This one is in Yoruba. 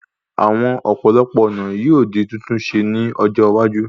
Àwọn òpópó-ònà yóò di títún ṣe ní ọjọ́ iwájú